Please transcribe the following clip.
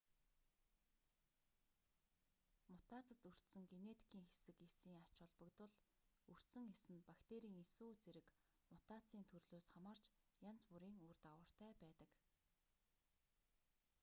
мутацид өртсөн генетикийн хэсэг эсийн ач холбогдол өртсөн эс нь бактерийн эс үү зэрэг мутацийн төрлөөс хамаарч янз бүрийн үр дагавартай байдаг